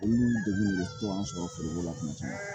Olu degun de bɛ to an sɔrɔ foroko la tuma caman